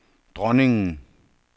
dronningen